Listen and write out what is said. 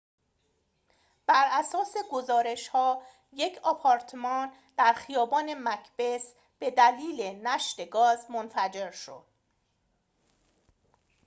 براساس گزارش‌ها یک آپارتمان در خیابان مکبث به دلیل نشت گاز منفجر شد